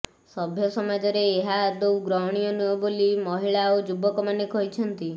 ସଭ୍ଯ ସମାଜରେ ଏହା ଆଦୌ ଗ୍ରହଣୀୟ ନୁହେଁ ବୋଲି ମହିଳା ଓ ଯୁବକମାନେ କହିଛନ୍ତି